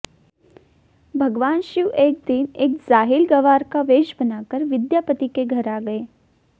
भगवान शिव एक दिन एक जाहिल गंवार का वेष बनाकर विद्यापति के घर आ गये